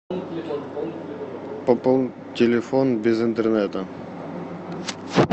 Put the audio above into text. пополнить телефон без интернета